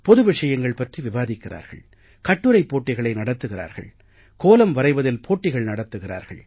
பொது விஷயங்கள் பற்றி விவாதிக்கிறார்கள் கட்டுரைப்போட்டிகளை நடத்துகிறார்கள் கோலம் வரைவதில் போட்டிகள் நடத்துகிறார்கள்